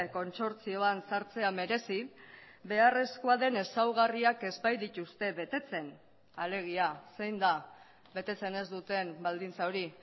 kontsortzioan sartzea merezi beharrezkoa den ezaugarriak ez baitituzte betetzen alegia zein da betetzen ez duten baldintza hori